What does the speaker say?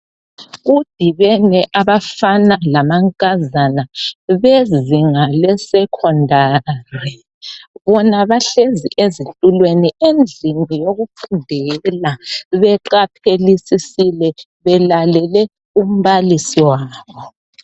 Kudibene abafaba lamankazana bezinga lesecondary bona bahlezi ezitulweni endlini yokufundela beqaphelisisile belalele umbalisi wabo.